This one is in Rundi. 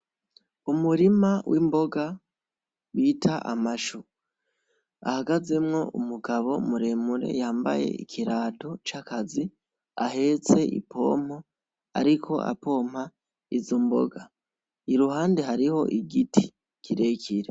Umurima w'imboga bita amashu hahagazemwo umugabo muremure yambaye ikirato c'akazi ahetse ipompo ariko apompa izo mboga iruhande hariho igiti kirekire.